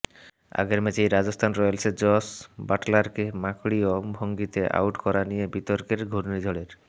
আগের ম্যাচেই রাজস্থান রয়্যালসের জস বাটলারকে মাঁকড়ীয় ভঙ্গিতে আউট করা নিয়ে বিতর্কের ঘূর্ণিঝড়ের